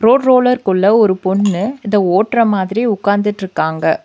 Road roller குள்ள ஒரு பொண்ணு இத ஓட்ற மாதிரி உக்காந்துட்ருக்காங்க.